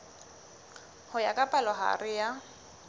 ho ya ka palohare ya